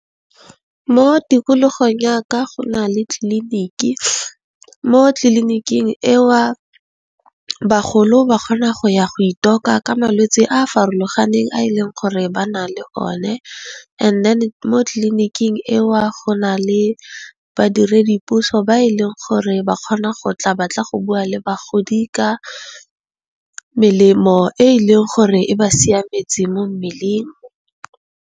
Mo tikologong ya ka go na le tliliniki mo tliliniking eo bagolo ba kgona go ya go itoka ka malwetse a a farologaneng a e leng gore ba na le one. Mo tleliniking eo go na le badiredipuso ba e leng gore ba kgona go tla ba bua le bagodi ka melemo e e leng gore e ba siametse mo mmeleng.